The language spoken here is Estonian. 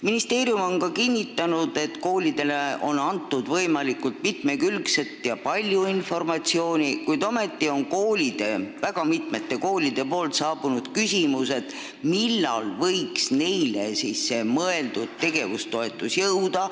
Ministeerium on kinnitanud, et koolidele on antud võimalikult palju ja mitmekülgset informatsiooni, kuid ometi on mitmelt koolilt saabunud küsimus, millal võiks neile mõeldud tegevustoetus nendeni jõuda.